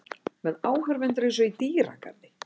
Með áhorfendur einsog í dýragarði.